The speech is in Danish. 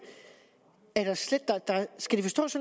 skal det forstås